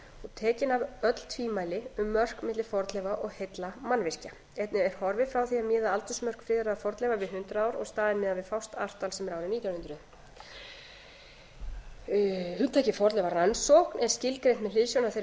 tekin af öll tvímæli um mörk milli fornleifa og heilla mannvirkja einnig er horfið frá því að miða aldursmörk friðaðra fornleifa við hundrað ár og í staðinn miðað við fast ártal sem er árið nítján hundruð fjórða hugtakið fornleifarannsókn er skilgreint með hliðsjón af þeirri